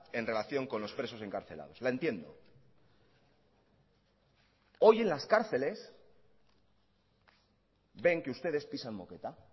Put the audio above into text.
en relación con los presos encarcelados la entiendo hoy en las cárceles ven que ustedes pisan moqueta